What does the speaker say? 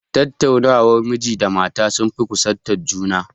Tattaunawar miji da mata sun fi kusantar juna